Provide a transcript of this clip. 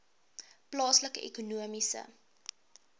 plaaslike ekonomiese